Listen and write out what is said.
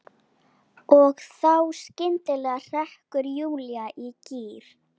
Og þá skyndilega hrekkur Júlía í gír.